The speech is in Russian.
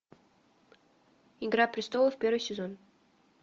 игра престолов первый сезон